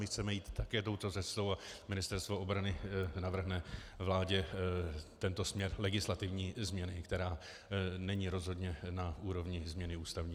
My chceme jít také touto cestou a Ministerstvo obrany navrhne vládě tento směr legislativní změny, která není rozhodně na úrovni změny ústavní.